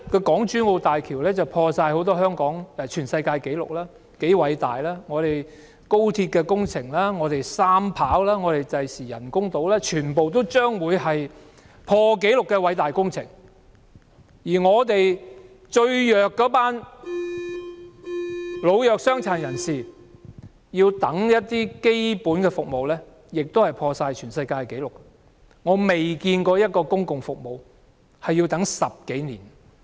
港珠澳大橋打破了很多世界紀錄，是多麼的偉大；廣深港高速鐵路、機場第三條跑道、未來的人工島全都是破紀錄的偉大工程，而本港最弱勢的老弱傷殘要輪候一些基本服務亦打破了世界紀錄，我從未見過輪候一項公共服務要10多年時間。